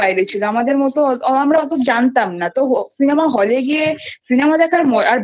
বাইরে ছিল আমরা অতো জানতাম না তো Cinema হল এ গিয়ে Cinema দেখার